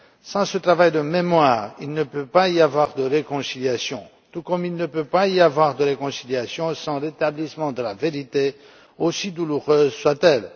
Sans ce travail de mémoire, il ne peut pas y avoir de réconciliation, tout comme il ne peut pas y avoir de réconciliation sans rétablissement de la vérité, aussi douloureuse soit elle.